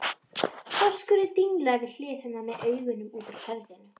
Þorskurinn dinglaði við hlið hennar með augun út úr höfðinu.